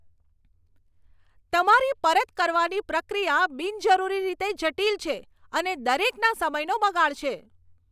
તમારી પરત કરવાની પ્રક્રિયા બિનજરૂરી રીતે જટિલ છે અને દરેકના સમયનો બગાડ છે.